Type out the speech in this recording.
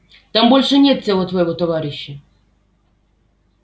там больше нет тела твоего товарища